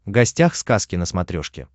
гостях сказки на смотрешке